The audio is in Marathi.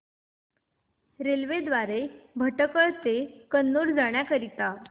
रेल्वे द्वारे भटकळ ते कन्नूर जाण्या करीता